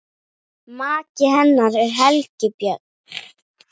Maki hennar er Helgi Björn.